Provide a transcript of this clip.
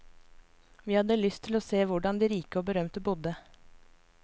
Vi hadde lyst til å se hvordan de rike og berømte bodde.